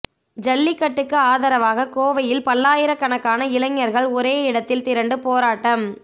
ஜல்லிக்கட்டுக்கு ஆதரவாக கோவையில் பல்லாயிரக்கணக்கான இளைஞர்கள் ஒரே இடத்தில் திரண்டு போராட்டம்